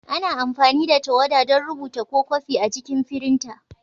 Ana amfani da tawada don rubuta ko kwafi a cikin firinta.